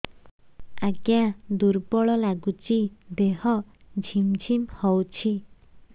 ଆଜ୍ଞା ଦୁର୍ବଳ ଲାଗୁଚି ଦେହ ଝିମଝିମ ହଉଛି